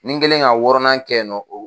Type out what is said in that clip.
Ni n kɛlen ka wɔɔnan kɛ nɔ o